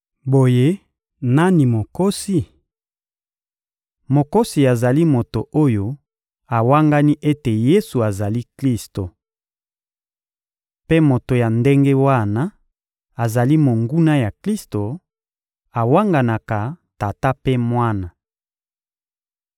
Boye nani mokosi? Mokosi azali moto oyo awangani ete Yesu azali Klisto. Mpe moto ya ndenge wana azali monguna ya Klisto: awanganaka Tata mpe Mwana.